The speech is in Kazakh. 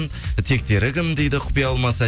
тектері кім дейді құпия болмаса